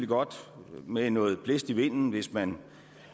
godt med noget blæst i vinden hvis man